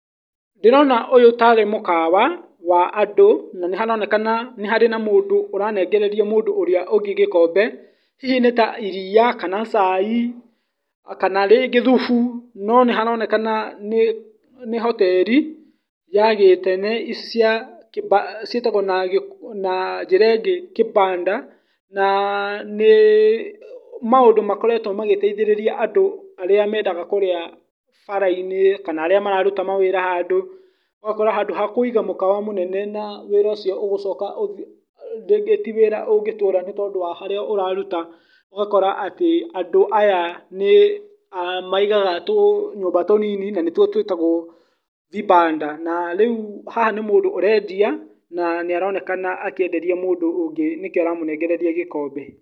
Ndĩrona ũyũ tarĩ mũkawa wa andũ , na nĩ haronekana nĩ harĩ na mũndũ ũranengereria mũndũ ũrĩa ũngĩ gĩkombe, hihi nĩta iria, kana cai , kana rĩngĩ thubu, no nĩ haronekana nĩ hoteri, ya gĩtene cia ciĩtagwo na njĩra ĩngĩ kibanda , na nĩ, maũndũ makoretwo magĩteithĩrĩria andũ arĩa mendaga kũrĩa bara-inĩ, kana arĩa maruta mawĩra handũ , ũgakora handũ ha kũiga mũkawa mũnene na wĩra ũcio ũgũcoka , rĩngĩ ti wĩra ũngĩtũra nĩ tondũ wa harĩa ũraruta, ũgakora andũ aya nĩ maigaga tũnyũmba tũnini na nĩtwo twĩtagwo vibanda , na rĩu haha nĩ mũndũ ũrendia na nĩ aronekana akĩenderia mũndũ ũngĩ nĩkĩo aramũnengereria gĩkombe.